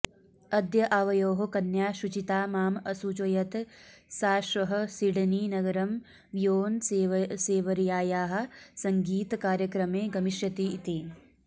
अद्य आवयोः कन्या शुचिता माम् असूचयत् सा श्वः सिडनीनगरं बियोन्सेवर्यायाः सङ्गीतकार्यक्रमे गमिष्यति इति